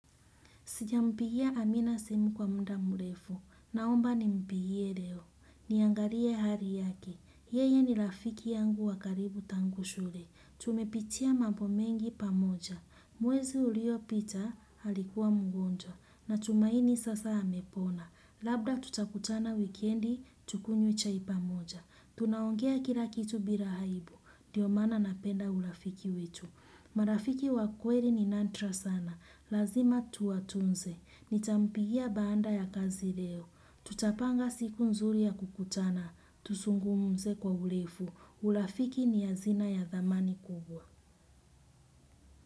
Sijampigia amina simu kwa muda murefu. Naomba ni mpigie leo. Niangalie hari yake. Yeye ni rafiki yangu wa karibu tangu shule. Tumepitia mambo mengi pamoja. Mwezi uliopita alikuwa mgonjwa. Na tumaini sasa amepona. Labda tutakutana wikendi, tukunywe chai pamoja. Tunaongea kila kitu bila aibu. Ndio maana napenda urafiki wetu. Marafiki wa kweli ni nandra sana. Lazima tuwa tunze. Nitampigia baada ya kazi leo. Tutapanga siku nzuri ya kukutana. Tuzungumze kwa urefu. Urafiki ni hazina ya dhamani kubwa.